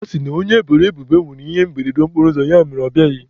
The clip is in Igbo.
A sị na onye eboro ebubo nwere ihe mberede okporoụzọ, ya mere na ọ bịaghị.